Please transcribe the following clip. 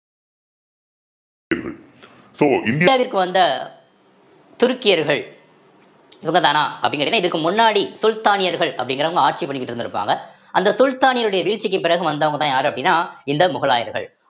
so இந்தியாவிற்கு வந்த துருக்கியர்கள் இவங்கதானா அப்படின்னு கேட்டீங்கன்னா இதுக்கு முன்னாடி சுல்தானியர்கள் அப்படிங்கிறவங்க ஆட்சி பண்ணிக்கிட்டு இருந்திருப்பாங்க அந்த சுல்தானியருடைய வீழ்ச்சிக்கு பிறகு வந்தவங்கதான் யாரு அப்படின்னா இந்த முகலாயர்கள்